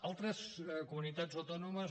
altres comunitats autònomes